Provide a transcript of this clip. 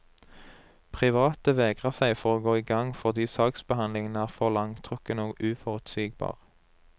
Private vegrer seg for å gå i gang fordi saksbehandlingen er for langtrukken og uforutsigbar.